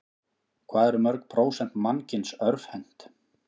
Hvað eru mörg prósent mannkyns örvhent?